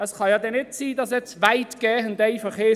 Es kann ja nicht sein, dass jetzt «weitgehend» einfach heisst: